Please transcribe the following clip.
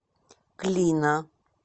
клина